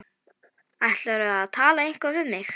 Ætlarðu að tala eitthvað við mig?